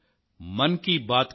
నమస్కారం